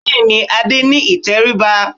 Bẹ́ẹ̀ ni, Adé ní ìtẹríba